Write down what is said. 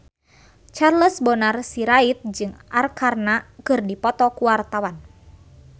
Charles Bonar Sirait jeung Arkarna keur dipoto ku wartawan